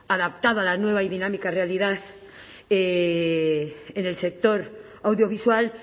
adaptado a la nueva y dinámica realidad en el sector audiovisual